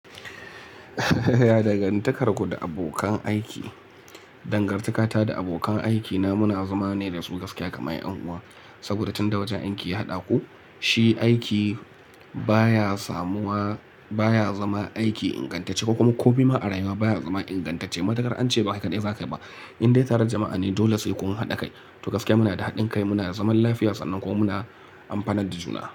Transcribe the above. Dangantakarku da abokan aiki. Dangantakata da abokan aikina muna zama ne da su gaskiya kamar 'yan uwa saboda tun da waje anki haɗa ku. Shi aiki baya samuwa baya zama aiki ingantacce ko kuma ko bi ma a rayuwa baya zama ingantacce. Matukar an ce ba kai kadai za ka yi ba. In dai tare da jama'a ne dole sai kun haɗa kai. To gaskiya muna da haɗin kai, muna da zaman lafiya sannan kuma muna amfanar da juna.